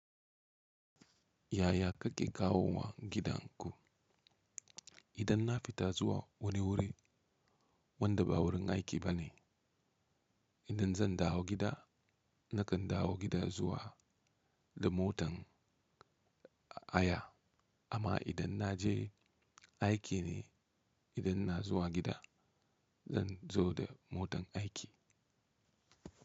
Yaya kake kawowa gidanku? Idan na fita zuwa wani wuri, wanda ba wurin aiki ba ne, idan zan dawo gida nakan dawo gida zuwa da motan haya amma idan na je aiki ne, idan ina zuwa gida, zan zo da motan aiki.